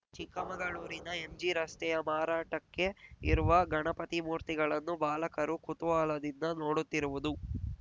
ಚಿಕ್ಕಮಗಳೂರಿನ ಎಂಜಿ ರಸ್ತೆಯಲ್ಲಿ ಮಾರಾಟಕ್ಕೆ ಇರುವ ಗಣಪತಿ ಮೂರ್ತಿಗಳನ್ನು ಬಾಲಕರು ಕುತೂಹಲದಿಂದ ನೋಡುತ್ತಿರುವುದು